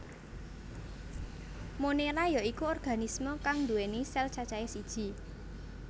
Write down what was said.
Monera ya iku organisme kang nduwèni sel cacahe siji